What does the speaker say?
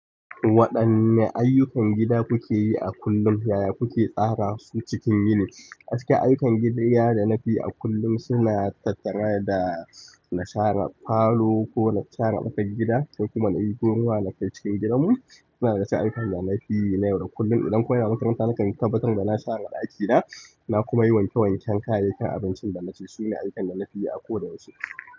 Waɗanne ayyukan gida kuke yi a kullum, yaya kuke tsara su cikin yini? Acikin, ayyukan gida na da na fi a kullum suna tattare da na share falo ko na share ƙofar gida, sai kuma na ɗibo ruwa na kai cikin gidanmu. Suna daga cikin ayyukan da na fi yi na yau da kullun. Idan kuma ina makaranta, nakan tabbatar da na share ɗakina. Na kuma yi wanke wanken kayayyakin abincin da na ci. Sune ayyukan da nafi yi a kowane lokaci.